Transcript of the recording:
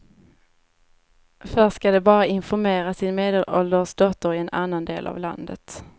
Först ska de bara informera sin medelålders dotter i en annan del av landet.